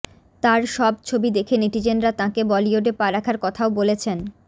তার সব ছবি দেখে নেটিজেনরা তাঁকে বলিউডে পা রাখার কথাও বলেছেন